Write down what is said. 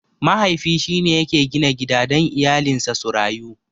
Mahaifi shine yake gina gida dan iyalinsa su rayu.